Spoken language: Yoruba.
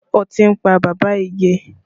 Ọtí ń pa bàbá Ige